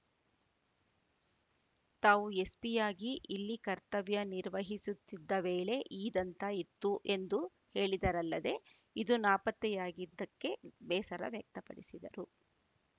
ತಾವು ಎಸ್‌ಪಿಯಾಗಿ ಇಲ್ಲಿ ಕರ್ತವ್ಯ ನಿರ್ವಹಿಸುತ್ತಿದ್ದ ವೇಳೆ ಈ ದಂತ ಇತ್ತು ಎಂದು ಹೇಳಿದರಲ್ಲದೆ ಇದು ನಾಪತ್ತೆಯಾಗಿದ್ದಕ್ಕೆ ಬೇಸರ ವ್ಯಕ್ತಪಡಿಸಿದರು